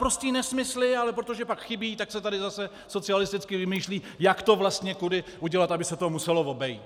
Naprosté nesmysly, ale protože pak chybí, tak se tady zase socialisticky vymýšlí, jak to vlastně kudy udělat, aby se to muselo obejít.